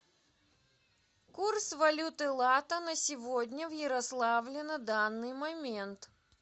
курс валюты лата на сегодня в ярославле на данный момент